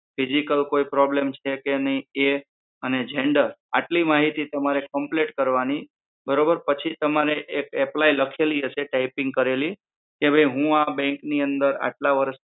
physical problem છે કે નાઈ એ અને gender આટલો માહિતી તમારે complete કરવાની બરોબર. પછી તમારે એક apply લખેલી હશે check in કરેલી કે હું આ bank ની અંદર આટલા વરસ થી